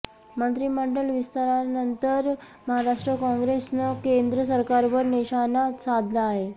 मंत्रिमंडळ विस्तारानंतर महाराष्ट्र काँग्रेसनं केंद्र सरकारवर निशाणा साधला आहे